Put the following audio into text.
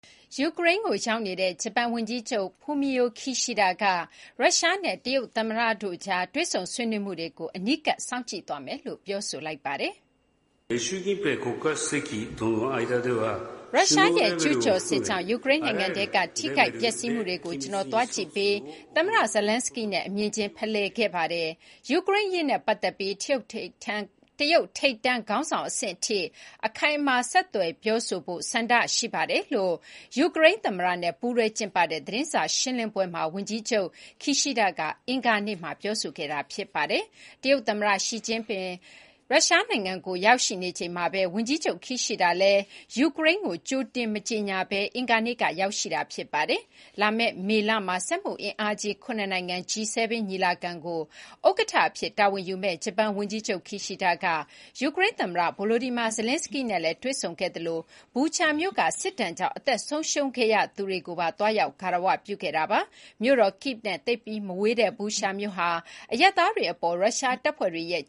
ယူကရိန်းကိုရောက်ရှိနေတဲ့ ဂျပန်ဝန်ကြီးချုပ် Fumio Kishida က ရုရှားနဲ့ တရုတ်သမ္မတတို့ကြားတွေ့ဆုံဆွေးနွေးမှုတွေကို အနီးကပ်စောင့်ကြည့်သွားမယ်လို့ ပြောပါတယ်။ " ရုရှားရဲ့ကျူးကျော်စစ်ကြောင့် ယူကရိန်းနိုင်ငံထဲက ထိခိုက်ပျက်စီးမှုတွေကို ကျနော်သွားကြည့်ပြီး သမ္မတ Zelenskyy နဲ့ အမြင်ချင်းဖလှယ်ခဲ့ပါတယ်။ ယူကရိန်းအရေးနဲ့ပတ်သက်ပြီး တရုတ်ထိပ်တန်း ခေါင်းဆောင်အဆင့်ထိ အခိုင်အမာဆက်သွယ်ပြောဆိုဖို့ ဆန္ဒရှိပါတယ်" လို့ ယူကရိန်းသမ္မတနဲ့ပူးတွဲကျင်းပတဲ့ သတင်းစာရှင်းလင်းပွဲမှာ ဝန်ကြီးချုပ် Kishida က အင်္ဂါနေ့မှာ ပြောဆိုသွားတာပါ။ တရုတ်သမ္မတရှီကျင့်ဖျင် ရုရှားနိုင်ငံကို ရောက်ရှိနေချိန်မှာပဲ ဝန်ကြီးချုပ် Kishida လည်း ယူကရိန်းကို ကြိုတင်ကြေညာခြင်းမရှိဘဲ အင်္ဂါနေ့က ရောက်လာပါတယ်။ လာမယ့် မေလမှာ စက်မှုအင်အားကြီး ၇ နိုင်ငံ G7 ညီလာခံကို ဥက္ကဋ္ဌအဖြစ်တာဝန်ယူမယ့် ဂျပန်ဝန်ကြီးချုပ် Kishida က ယူကရိန်းသမ္မတ Volodymyr Zelenskyy နဲ့လည်း တွေ့ဆုံခဲ့သလို Bucha မြို့က စစ်ဒဏ်ကြောင့် အသက်ဆုံးရှုံးခဲ့ရသူတွေကိုပါ သွားရောက် ဂါရဝပြုခဲ့တာပါ။ မြို့တော် Kyiv နဲ့ သိပ်မဝေးတဲ့ Busha မြို့ဟာ အရပ်သားတွေအပေါ် ရုရှားတပ်ဖွဲ့တွေရဲ့